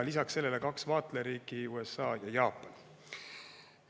Lisaks sellele on kaks vaatlejariiki: USA ja Jaapan.